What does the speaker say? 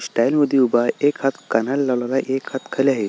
Style मध्ये उभा एक हात कानाला लावलेला आहे एक हात खाली आहे.